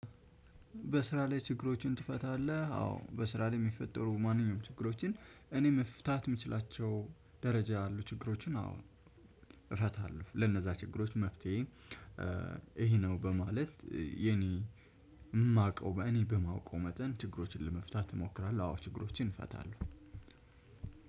በስራ ላይ ችግሮችን ትፈታለህ? አዎ በስራ ላይ የሚፈጠሩ ማንኛውም ችግሮችን እኔ መፍታት የምችላቸው ደረጃ ያሉ ችግሮችን አዎ እፈታለሁ ለነዛ ችግሮች መፍትሄ። ይሄ ነው በማለት የኔ የማውቀው በእኔ በማውቀው መጠን ችግሮችን ለመፍታት እሞክራለሁ። አዎ ችግሮችን እፈታለሁ።